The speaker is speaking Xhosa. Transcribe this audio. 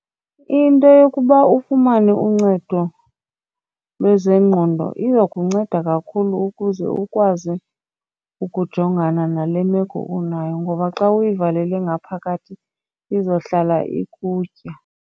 Into yokuba ufumane uncedo lwezengqondo izokunceda kakhulu ukuze ukwazi ukujongana nale meko unayo ngoba xa uyivalele ngaphakathi izohlala ikutya.